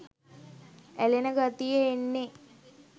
ඇලෙන ගතිය එන්නෙ.